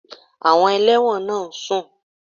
Àwọn ẹlẹ́wọ̀n náà ń sùn